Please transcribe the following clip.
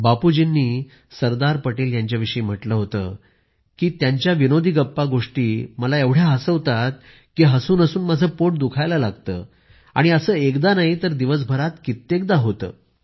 बापूजींनी सरदार पटेल यांच्या विषयी म्हटलं होतं की त्यांच्या विनोदी गप्पा गोष्टी मला एवढ्या हसवतात की हसून हसून माझे पोट दुखायला लागते आणि असे एकदा नाही तर दिवस भरात कित्येकदा होते